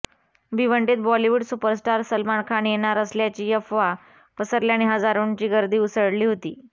भिवंडीत Bollywood superstar Salman Khan येणार असल्याची अफवा पसरल्याने हजारोंची गर्दी उसळली होती